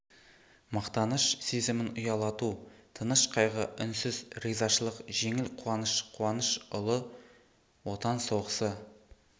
мақтаныш сезімін ұялату тыныш қайғы үнсіз ризашылық жеңіл қуаныш қуаныш ұлы отан соғысы